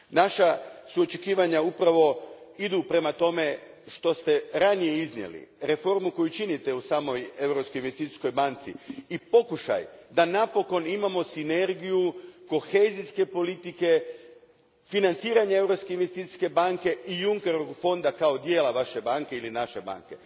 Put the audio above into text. Naša očekivanja idu prema tome što ste ranije iznijeli, reformi koju činite u samoj Europskoj investicijskoj banci i pokušaju da napokon imamo sinergiju kohezijske politike, financiranja Europske investicijske banke i Junckerovog fonda kao dijela Vaše banke ili naše banke.